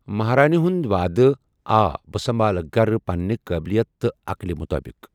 مہارِنہِ ہُنٛد وَعدٕ آ، بہٕ سَمبالہٕ گھرٕ پننہِ قٲبلیت تہٕ عَقٕلہِ مُطٲبِق